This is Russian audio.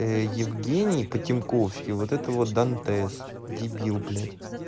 ээ евгений потемковский вот это вот дантес дебил блять